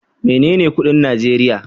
Menene kudin Najeriya?